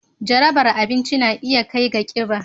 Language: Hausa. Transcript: Jarabar abinci na iya kai ga kiba